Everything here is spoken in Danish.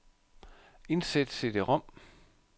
Indsæt cd-rom.